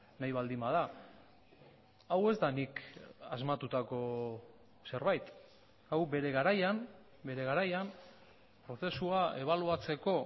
nahi baldin bada hau ez da nik asmatutako zerbait hau bere garaian bere garaian prozesua ebaluatzeko